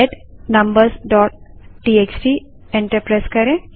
head numbersटीएक्सटी enter करें